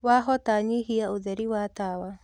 wahota nyĩhĩa ũtheri wa tawa